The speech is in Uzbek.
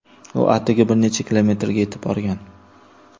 U atigi bir necha kilometrga yetib borgan.